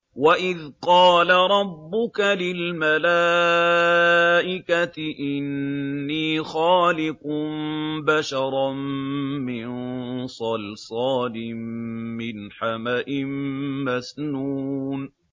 وَإِذْ قَالَ رَبُّكَ لِلْمَلَائِكَةِ إِنِّي خَالِقٌ بَشَرًا مِّن صَلْصَالٍ مِّنْ حَمَإٍ مَّسْنُونٍ